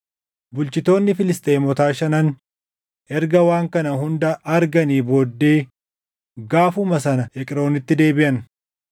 Bulchitoonni Filisxeemotaa shanan erga waan kana hunda arganii booddee gaafuma sana Eqroonitti deebiʼan.